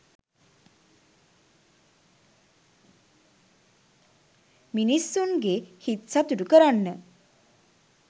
මිනිස්සුන්ගේ හිත් සතුටු කරන්න